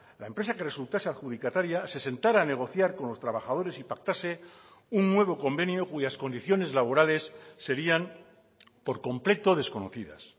la empresa que resultase adjudicataria se sentara a negociar con los trabajadores y pactase un nuevo convenio cuyas condiciones laborales serían por completo desconocidas